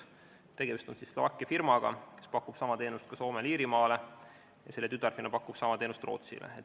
Tegemist on Slovakkia firmaga, kes pakub sama teenust ka Soomele ja Iirimaale, selle tütarfirma pakub sama teenust Rootsile.